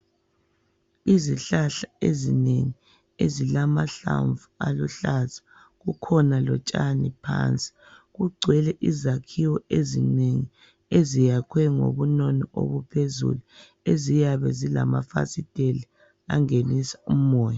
Izihlahla ezinengi ezilamahlamvu aluhlaza kukhona lotshani phansi kugcwele izakhiwo ezinengi eziyakhwe ngobunono obuphezulu eziyabe zilamafasitela angenisa umoya.